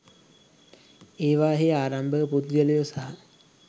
ඒවායෙහි ආරම්භක පුද්ගලයෝ සහ